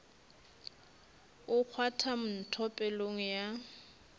o kgwatha ntho pelong ya